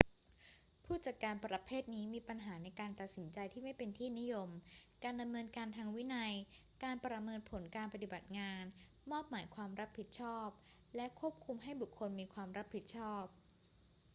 ผู้จัดการประเภทนี้มีปัญหาในการตัดสินใจที่ไม่เป็นที่นิยม การดำเนินการทางวินัย การประเมินผลการปฏิบัติงาน มอบหมายความรับผิดชอบ และควบคุมให้บุคคลมีความรับผิดชอบ